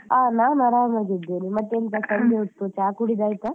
ಅಹ್ ನಾನ್ ಆರಾಮಾಗಿದ್ದೇನೆ, ಮತ್ತೆ ಸಂಜೆ ಹೊತ್ತು ಚಾ ಕುಡಿದು ಆಯ್ತಾ?